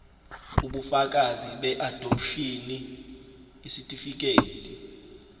ubufakazi beadopshini isitifikedi